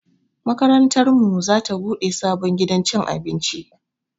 Makarantar mu za ta buɗe sabon gidan cin abinci